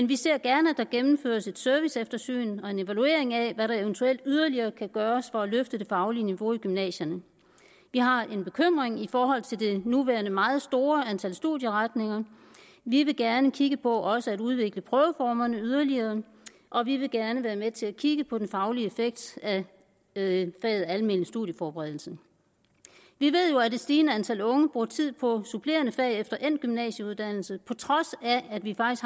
vi ser gerne at der gennemføres et serviceeftersyn og en evaluering af hvad der eventuelt yderligere kan gøres for at løfte det faglige niveau i gymnasierne vi har en bekymring i forhold til det nuværende meget store antal studieretninger vi vil gerne kigge på også at udvikle prøveformerne yderligere og vi vil gerne være med til at kigge på den faglige effekt af faget almen studieforberedelse vi ved jo at et stigende antal unge bruger tid på supplerende fag efter endt gymnasieuddannelse på trods af at vi